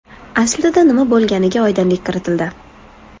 Aslida nima bo‘lganiga oydinlik kiritildi.